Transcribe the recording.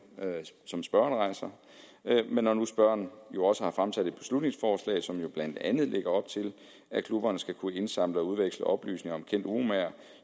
som spørgeren rejser men når nu spørgeren jo også har fremsat et beslutningsforslag som blandt andet lægger op til at klubberne skulle kunne indsamle og udveksle oplysninger om kendte uromagere